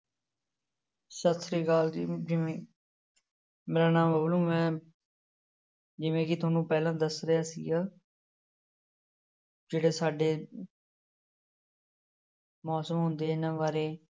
ਸਤਿ ਸ੍ਰੀ ਅਕਾਲ ਜੀ ਜਿਵੇਂ ਮੇਰਾ ਨਾਮ ਰੋਨੂੰ ਹੈ ਜਿਵੇਂ ਕਿ ਤੁਹਾਨੂੰ ਪਹਿਲਾਂ ਦੱਸ ਰਿਹਾ ਸੀਗਾ ਜਿਹੜੇ ਸਾਡੇ ਮੌਸਮ ਹੁੰਦੇ ਇਹਨਾਂ ਬਾਰੇ